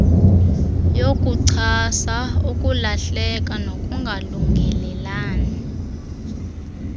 yokuchasa ukulahlela nokungalungelelani